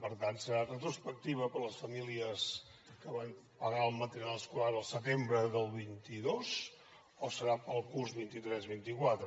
per tant serà retrospectiva per les famílies que van pagar el material escolar el setembre del vint dos o serà pel curs vint tres vint quatre